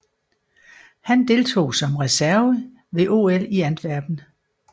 Han deltog som reserve ved OL i Antwerpen